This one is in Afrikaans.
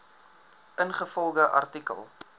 ingevolge artikel